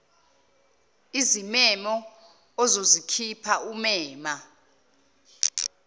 izimemo ozozikhipha umema